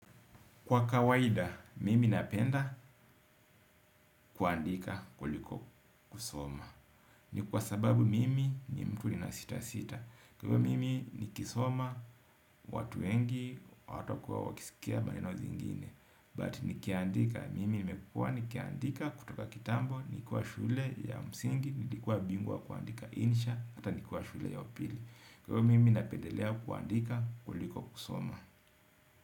Kwa kawaida, mimi napenda kuandika kuliko kusoma. Ni kwa sababu mimi ni mtu ninasita sita kwa ivo mimi nikisoma, watu wengi, hawatakuwa wakisikia maneno zingine But nikiandika, mimi nimekukua nikiandika kutoka kitambo. Ni kuwa shule ya msingi, nilikua bingwa wa kuandika insha. Ata ni kuwa shule ya upili. Kwa mimi napendelea kuandika kuliko kusoma.